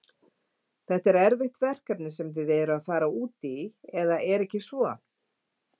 Þetta er erfitt verkefni sem þið eruð að fara út í eða er ekki svo?